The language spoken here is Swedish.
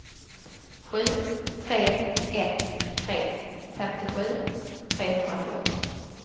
sju tre ett tre femtiosju trehundrafjorton